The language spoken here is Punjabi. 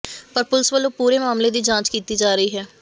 ਪਰ ਪੁਲਿਸ ਵੱਲੋਂ ਪੂਰੇ ਮਾਮਲੇ ਦੀ ਜਾਂਚ ਕੀਤੀ ਜਾ ਰਹੀ ਹੈ